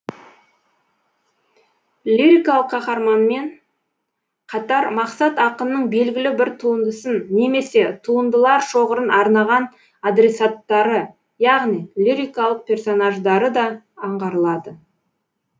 лирикалық қаһарманмен қатар мақсат ақынның белгілі бір туындысын немесе туындылар шоғырын арнаған адресаттары яғни лирикалық персонаждары да аңғарылады